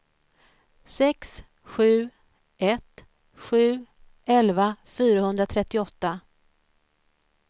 sex sju ett sju elva fyrahundratrettioåtta